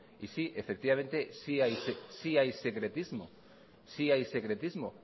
y sí sí hay secretismo